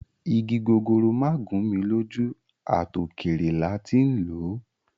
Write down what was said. Igi gogoro ma gun mi loju, at okere la ti n lo